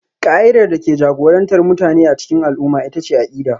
Ƙa'idar da ke jagorantar mutane a cikin al'umma ita ce akida